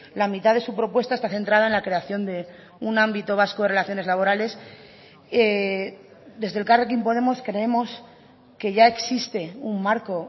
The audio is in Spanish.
la mitad de su propuesta está centrada en la creación de un ámbito vasco de relaciones laborales desde elkarrekin podemos creemos que ya existe un marco